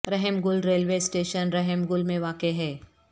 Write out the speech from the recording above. رحم Gul railway station Rahm Gul میں واقع ہے